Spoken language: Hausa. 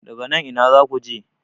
daga nan Ina za ku je?